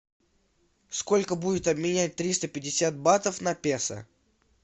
сколько будет обменять триста пятьдесят батов на песо